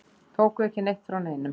Tóku ekki neitt frá neinum.